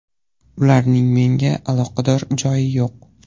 Ularning menga aloqador joyi yo‘q.